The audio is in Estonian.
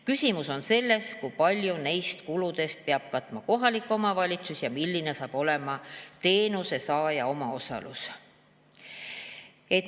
Küsimus on selles, kui palju neist kuludest peab katma kohalik omavalitsus ja milline saab olema teenuse saaja omaosalus.